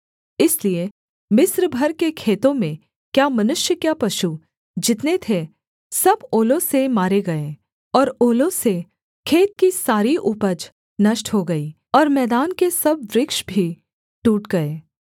इसलिए मिस्र भर के खेतों में क्या मनुष्य क्या पशु जितने थे सब ओलों से मारे गए और ओलों से खेत की सारी उपज नष्ट हो गई और मैदान के सब वृक्ष भी टूट गए